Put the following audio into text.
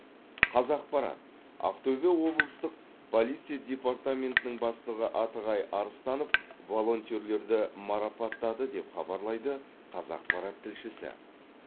қазақпарат ақтөбе облыстық полиция департаментінің бастығы атығай арыстанов волонтерлерді марапаттады деп хабарлайды қазақпарат тілшісі